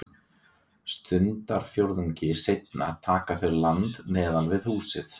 Stundarfjórðungi seinna taka þau land neðan við húsið.